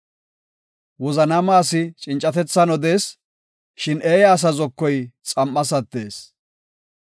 Wozanaama asi cincatethan odees; shin eeya asa zokoy xam7as attees.